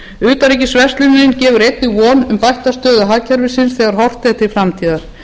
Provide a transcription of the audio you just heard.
utanríkisverslunin gefur einnig von um bætta stöðu hagkerfisins þegar horft er til framtíðar